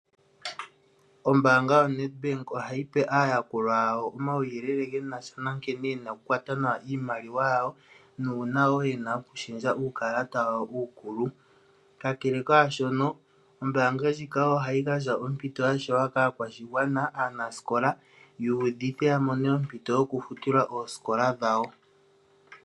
Ombaanga yoNEDBANK ohayi pe aayakulwa yawo omawuyelele genasha na nkene yena oku kwata nawa iimaliwa yawo nuuna wo yena oku shendja uukalata wawo uukulu. Kalele kaa shono, ombaangandjika ohayi ohayi gandja ompito yashewa kaakwashigwana aanasikola yuudhithe yamone ompito yokufutilwa osiikola dhawo.